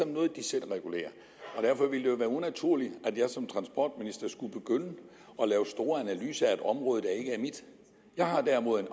noget de selv regulerer og derfor ville det jo være unaturligt at jeg som transportminister skulle begynde at lave store analyser af et område der ikke er mit jeg har derimod en